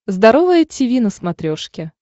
здоровое тиви на смотрешке